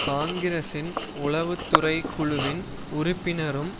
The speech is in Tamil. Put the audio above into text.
காங்கிரசின் உளவு துறை குழுவின் உறுப்பினரும்